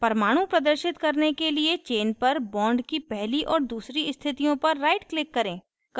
परमाणु प्रदर्शित करने के लिए chain पर bond की पहली और दूसरी स्थितियों पर right click करें